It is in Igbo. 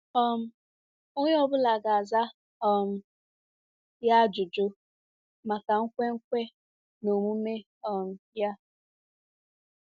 um Onye ọ bụla ga-aza um ya ajụjụ maka nkwenkwe na omume um ya.